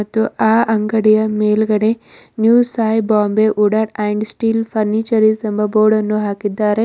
ಮತ್ತು ಆ ಅಂಗಡಿಯ ಮೇಲ್ಗಡೆ new Sai Bombay wooden and steel furnitures ಎಂಬ ಬೋರ್ಡ್ ಅನ್ನು ಹಾಕಿದ್ದಾರೆ.